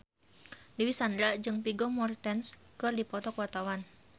Dewi Sandra jeung Vigo Mortensen keur dipoto ku wartawan